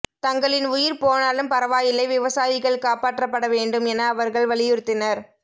தங்களின் உயிர் போனாலும் பரவாயில்லை விவசாயிகள் காப்பாற்றப்பட வேண்டும் என அவர்கள் வலியுறுத்தினர்